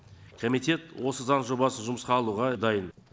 комитет осы заң жобасын жұмысқа алуға дайын